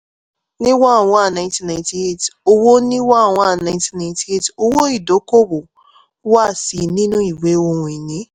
ní one one nineteen ninrty eight owó ní one one nineteen ninrty eight owó ìdókòòwò wà ṣí i nínú ìwé ohun-ìní.